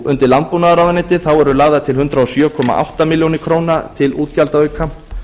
undir landbúnaðarráðuneyti eru lagðar til hundrað og sjö komma átta ár til útgjaldaauka